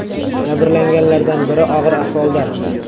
Jabrlanganlardan biri og‘ir ahvolda.